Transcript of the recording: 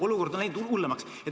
Olukord on läinud hullemaks.